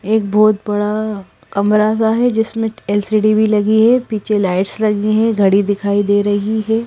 एक बहुत बड़ा कमरा सा है जिसमें एल_सी_डी भी लगी है पीछे लाइट्स लगी हैं घड़ी दिखाई दे रही है।